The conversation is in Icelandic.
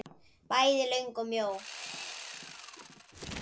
Bæði löng og mjó.